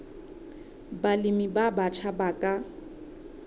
balemi ba batjha ba ka